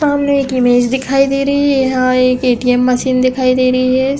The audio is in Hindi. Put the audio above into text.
सामने एक इमेज दिखाई दे रही है। यहाँ एक ए .टी .एम. मशीन दिखाई दे रही है।